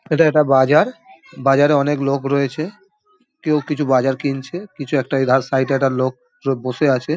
এটি একটা বাজার বাজারে অনেক লোক রয়েছে | কেউ কিছু বাজার কিনছে কিছু একটা সাইড -এ একটা লোক বসে আছে।